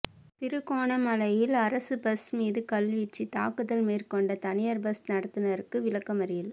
திருகோணமலையில் அரச பஸ் மீது கல்வீச்சு தாக்குதல் மேற்கொண்ட தனியார் பஸ் நடத்துனருக்கு விளக்கமறியல்